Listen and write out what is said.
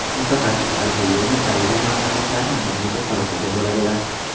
Mutaxassislar bu yo‘lni tanlagan mamlakatlarni bir necha toifaga bo‘ladilar.